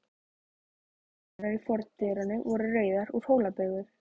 Gólfhellurnar í fordyrinu voru rauðar, úr Hólabyrðu.